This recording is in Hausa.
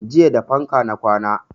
Jiya da fanka na kwana